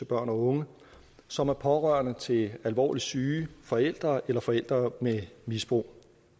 børn og unge som er pårørende til alvorligt syge forældre eller forældre med misbrug